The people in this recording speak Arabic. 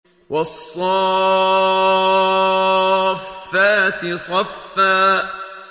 وَالصَّافَّاتِ صَفًّا